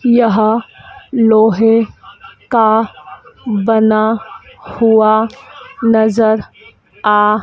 यहाँ लोहे का बना हुआ नजर आ--